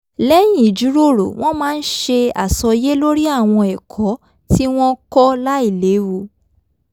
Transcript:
lẹ́yìn ìjìròrò wọ́n máa ń ṣe àsọyé lórí àwọn ẹ̀kọ́ tí wọ́n kọ́ láìléwu